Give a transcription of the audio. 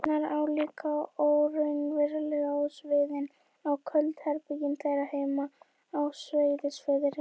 eyjarnar álíka óraunverulegar og sviðin og köld herbergin þeirra heima á Seyðisfirði.